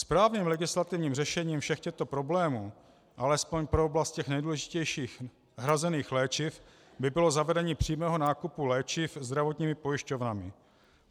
Správným legislativním řešením všech těchto problémů alespoň pro oblast těch nejdůležitějších hrazených léčiv by bylo zavedení přímého nákupu léčiv zdravotními pojišťovnami.